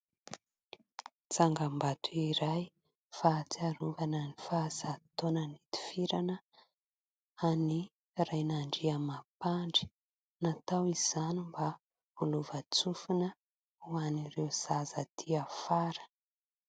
Tsangambato iray fahatsiarovana ny faha zato taona nitifirana an'i Rainandriamampandry. Natao izany mba ho lovan-tsofina ho an'ireo zaza aty afara.